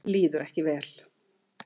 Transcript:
Líður ekki vel.